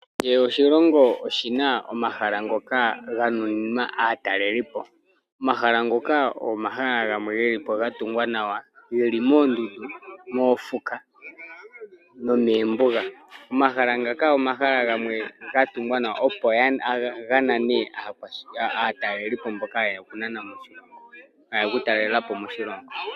Kehe oshilongo oshina omahala ngoka ga nuninwa aatalelipo. Omahala ngoka omahala gamwe gelipo ga tungwa nawa geli moondundu, moofuka nomeembuga. Omahala ngaka omahala gamwe ga tungwa nawa opo ga nane aatalelipo mboka yeya oku talelapo moshilongo.